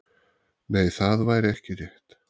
Nei, það væri ekki rétt.